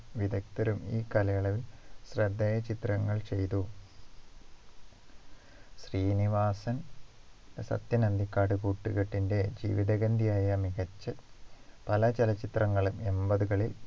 വിദഗ്ധരും ഈ കാലയളവിൽ ശ്രദ്ധേയ ചിത്രങ്ങൾ ചെയ്തു ശ്രീനിവാസൻ സത്യൻ അന്തിക്കാട് കൂട്ടുകെട്ടിൻ്റെ ജീവിത ഗന്ധിയായ മികച്ച പല ചലചിത്രങ്ങളും എൺപത്കളിൽ